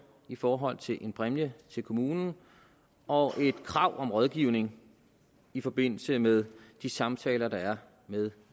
i forhold til en præmie til kommunen og et krav om rådgivning i forbindelse med de samtaler der er med